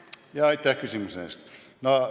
Aitäh küsimuse eest!